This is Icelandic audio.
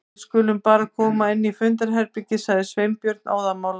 Við skulum bara koma inn í fundarherbergi- sagði Sveinbjörn óðamála.